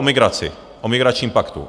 O migraci, o migračním paktu.